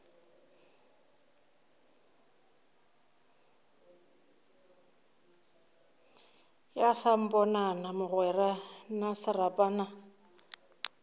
ya samponana mogwera na serapana